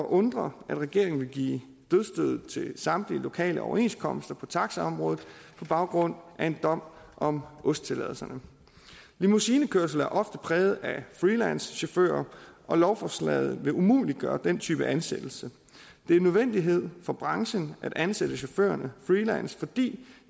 undre at regeringen vil give dødsstødet til samtlige lokale overenskomster på taxaområdet på baggrund af en dom om ost tilladelserne limousinekørsel er ofte præget af freelancechauffører og lovforslaget vil umuliggøre den type ansættelse det er en nødvendighed for branchen at ansætte chaufførerne freelance fordi